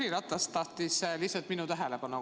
Jüri Ratas lihtsalt tahtis korraks mu tähelepanu.